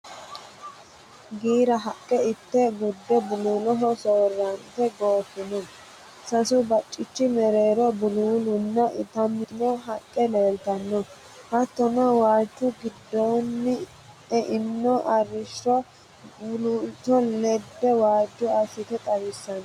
Giira haqqe itte gudde buluuloho soorrante gooffino. Sasu baccichi mereero buluulunna itantino haqqella leeltanno. hattono waalchu giddoonni eino arrishsho buluulo ledde waajjo assite xawissino.